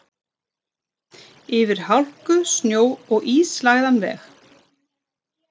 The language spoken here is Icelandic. Yfir hálku, snjó og ísilagðan veg.